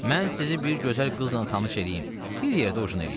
Mən sizi bir gözəl qızla tanış eləyim, bir yerdə ujin eləyin.